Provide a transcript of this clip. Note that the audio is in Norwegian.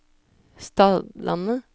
Stadlandet